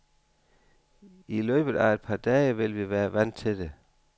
I løbet af et par dage vil vi være vant til det.